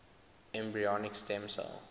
embryonic stem cell